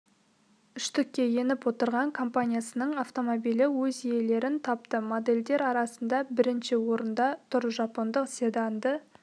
үштікке еніп отырған компаниясының автомобилі өз иелерін тапты модельдер арасында бірінші орында тұр жапондық седанды